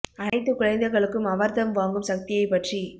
அனைத்து குழந்தைகளுக்கும் அவர்தம் வாங்கும் சக்தியைப் பற்றி